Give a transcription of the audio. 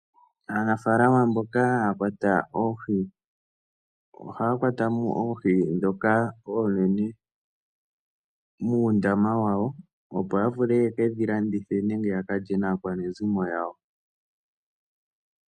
Aanafaalama mboka haya kwata oohi, ohaya kwata mo oohi ndhoka oonene muundama wawo opo ya vule ye ke dhi landithe nenge ya ka lye naakwanezimo yawo.